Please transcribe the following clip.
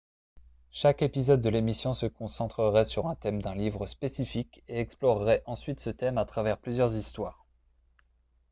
chaque épisode de l'émission se concentrerait sur un thème d'un livre spécifique et explorerait ensuite ce thème à travers plusieurs histoires